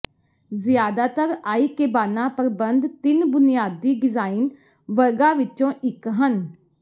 ਜ਼ਿਆਦਾਤਰ ਆਈਕੇਬਾਨਾ ਪ੍ਰਬੰਧ ਤਿੰਨ ਬੁਨਿਆਦੀ ਡਿਜ਼ਾਇਨ ਵਰਗਾਂ ਵਿਚੋਂ ਇਕ ਹਨ